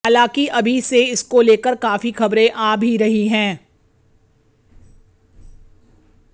हालांकि अभी से इसको लेकर काफी खबरें आ भी रही हैं